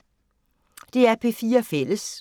DR P4 Fælles